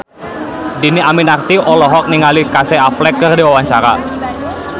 Dhini Aminarti olohok ningali Casey Affleck keur diwawancara